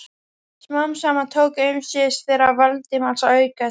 Smám saman tóku umsvif þeirra Valdimars að aukast.